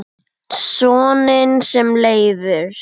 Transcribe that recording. Soninn sem Leifur